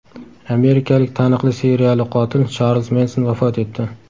Amerikalik taniqli seriyali qotil Charlz Menson vafot etdi.